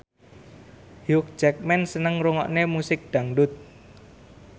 Hugh Jackman seneng ngrungokne musik dangdut